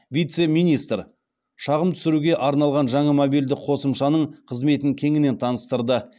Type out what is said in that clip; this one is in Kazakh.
вице министр шағым түсіруге арналған жаңа мобильді қосымшаның қызметін кеңінен таныстырды